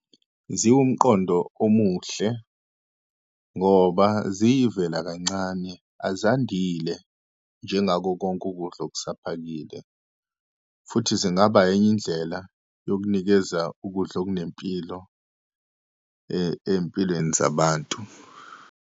Ziwumqondo omuhle ngoba ziyavela kancane, azandile njengakokonke ukudla okusaphakile. Futhi zingaba enye indlela yokunikeza ukudla okunempilo ey'mpilweni zabantu.